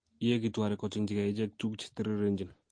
yeegitu areek kochengjige icheget tuguk chetirirenjin